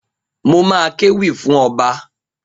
Mo ma kéwì fún ọba.